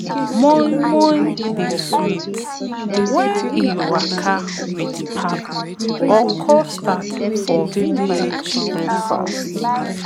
moi moi dey sweet when e waka with pap or custard for village breakfast